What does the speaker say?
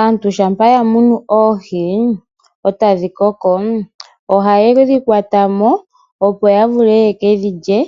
Aantu shapa yamunu oohi otadhikoko oha yedhi kwatamo opo yavule yekedhilye